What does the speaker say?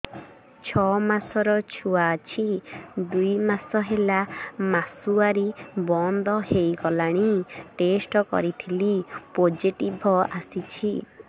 ଛଅ ମାସର ଛୁଆ ଅଛି ଦୁଇ ମାସ ହେଲା ମାସୁଆରି ବନ୍ଦ ହେଇଗଲାଣି ଟେଷ୍ଟ କରିଥିଲି ପୋଜିଟିଭ ଆସିଛି